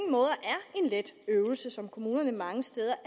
let øvelse som kommunerne mange steder